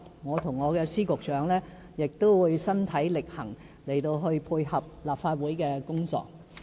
我與我的司局長亦會身體力行，配合立法會的工作。